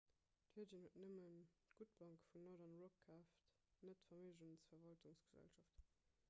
virgin huet nëmmen d''gutt bank' vun northern rock kaaft net d'verméigensverwaltungsgesellschaft